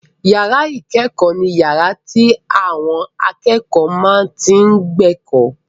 Ìyàrá ìkẹ́kọ̀ọ́ ni yàrá tí àwọn akẹ́kọ̀ọ́ máa tí n gba ẹ̀kọ́